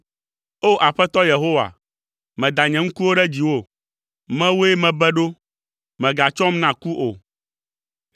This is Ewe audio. O! Aƒetɔ Yehowa, meda nye ŋkuwo ɖe dziwò, mewòe mebe ɖo, mègatsɔm na ku o.